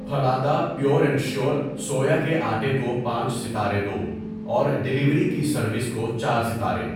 Phalada pure and sure سویا کے آٹے کو پانچ ستارے دو اور ڈیلیوری کی سروس کو چار ستارے۔